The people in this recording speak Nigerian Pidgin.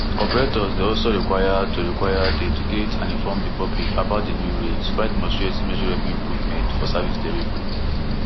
operators dey also required to required to educate and inform di public about di new rates while demonstrating measurable improvements for service delivery